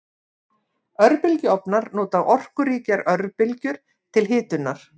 Örbylgjuofnar nota orkuríkar örbylgjur til hitunar.